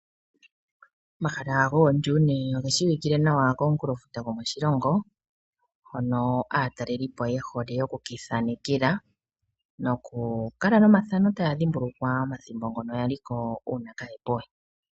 Omahala goo Dune oge shii wikile nawa komunkulofuta gwomoshilongo, hono aatalelipo yehole oku ki ithanekela, noku kala nomathana taya dhimbulukwa omathimbo ngono ya li ko uuna kaa po we.